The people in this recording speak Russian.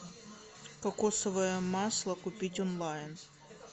кокосовое масло купить онлайн